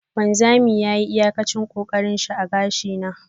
wanzami yayi iyakacin kokarinshi a gashi na.